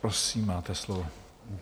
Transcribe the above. Prosím, máte slovo.